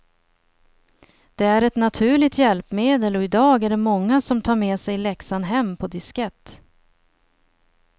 Det är ett naturligt hjälpmedel och i dag är det många som tar med sig läxan hem på diskett.